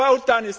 Well done!